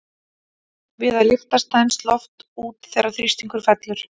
Við að lyftast þenst loft út þegar þrýstingur fellur.